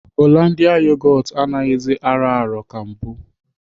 Hollandia yogot anaghịzi arọ arọ ka mbụ.